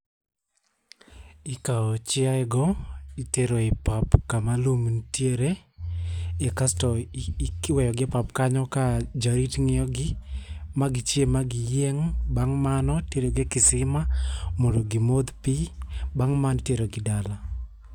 Ikawo chiayego itero e pap kama lum nitiere. Kasto iweyogi epap kanyo ka jarit ng'iyogi ma gi chiem ma giyieng'. Bang' mano itero gi e kisima mondo gi modh pii. Bang' mano iterogi dala.